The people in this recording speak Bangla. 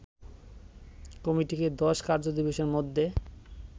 কমিটিকে ১০ কার্য দিবসের মধ্যে